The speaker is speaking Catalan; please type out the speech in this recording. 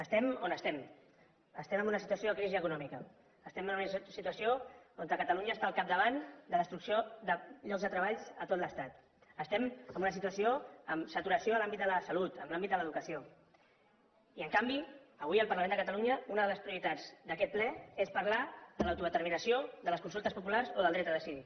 estem on estem estem en una situació de crisi econòmica estem en una situació on catalunya està al capdavant de destrucció de llocs de treball a tot l’estat estem en una situació amb saturació a l’àmbit de la salut en l’àmbit de l’educació i en canvi avui al parlament de catalunya una de les prioritats d’aquest ple és parlar de l’autodeterminació de les consultes populars o del dret a decidir